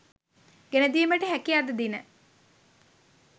ගෙන දීමට හැකි අද දින